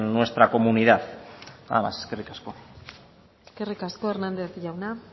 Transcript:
nuestra comunidad nada más eskerrik asko eskerrik asko hernández jauna